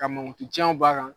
Ka mankutu tiɲɛw b'a ra